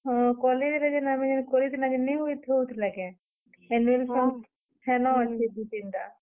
ହଁ, କଲେଜର ଯେନ୍ ଆମେ କରିଥିଲାଁ ନି ଥିଲା କେଁ, annual ଫଂକ୍ ହେନର୍ ଅଛେ ଦୁ୍ଇ, ତିନି ଟା।